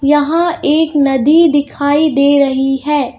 यहां एक नदी दिखाई दे रही है।